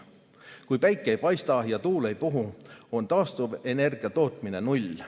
Kui päike ei paista ja tuul ei puhu, on taastuvenergia tootmine null.